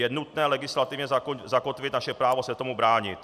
Je nutné legislativně zakotvit naše právo se tomu bránit.